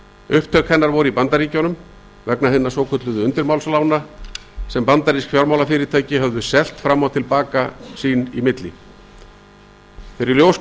upptök hennar voru í bandaríkjunum vegna hinna svokölluðu undirmálslána sem bandarísk fjármálafyrirtæki höfðu selt fram og til baka sín á milli þegar í ljós kom